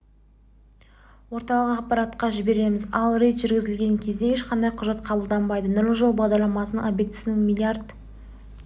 орталық аппаратқа жібереміз ал рейд жүргізілген кезде ешқандай құжат қабылданбайды нұрлы жол бағдарламасының обектісіне млрд